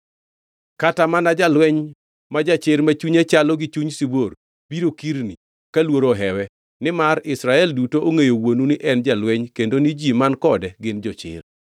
Kata mana jalweny ma jachir ma chunye chalo gi chuny sibuor, biro kirni ka luoro ohewe, nimar Israel duto ongʼeyo wuonu ni en jalweny kendo ni ji man kode gin jochir.